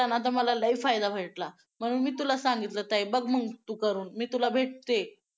धाकली पातळी घराबाहेर अंगणात शिंगाट पळतात आभाळातून कोसळणाऱ्या धाना धाना वृतांच्या ता तालावर